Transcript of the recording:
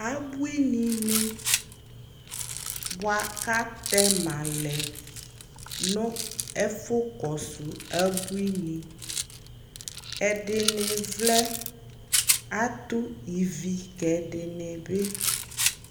Abuinini boa kʋ atɛma lɛ nʋ ɛfʋkɔsʋ abuini Ɛdini vlɛ, atʋ ivi kʋ ɛdini bi